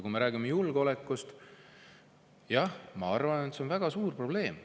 Kui me räägime julgeolekust, siis jah, ma arvan, et see on väga suur probleem.